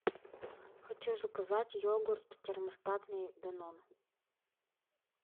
хочу заказать йогурт термостатный данон